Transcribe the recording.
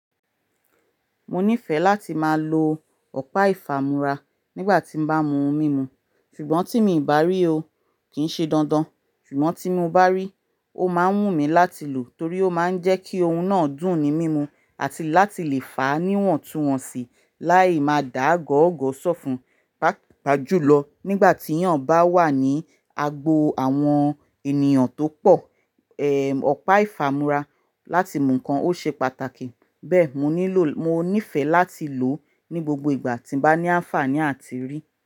Mo nífẹ̀ẹ́ láti máa lo ọ̀pá ìfàmúra nígbà tí n bá mu ohun mímu. Ṣùgbọ́n tí mì bá rí i o, kì í ṣe dandan. Ṣùgbọ́n tí mo bá rí, o máa ń wù mí láti lò torí ó máa ń jẹ́ kí ohun náà dùn ní mímu àti láti lè fàá níwọ̀n túwọ̀n sí láì má dà gọ́ọ̀gọ̀ sọ́fun. Pa-pa jùlọ nígbà tí eyàn bá wà ní agbo àwọn ènìyàn tó pọ̀, ọ̀pá ìfàmúra láti mu ǹkan ó ṣe pàtàkì. Bẹ́ẹ̀ mo nífẹ̀ láti lò ní gbogbo ìgbà tí n bá ní á n fààní àti rí.